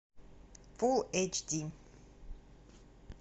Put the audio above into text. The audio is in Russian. фулл эйч ди